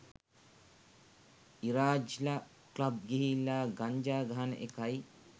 ඉරාජ්ල club ගිහිල්ලා ගංජා ගහන එකයි